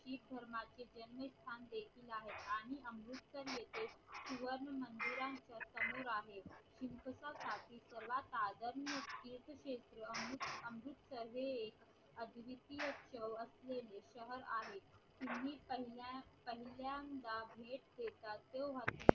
पहिल्यांदा भेट देतात तेव्हा बी